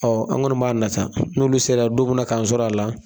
an kɔni b'a nata, n'olu sera ya don mun na k'an sɔr'a la